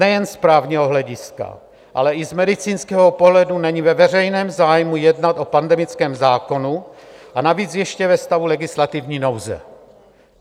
Nejen z právního hlediska, ale i z medicínského pohledu není ve veřejném zájmu jednat o pandemickém zákonu, a navíc ještě ve stavu legislativní nouze.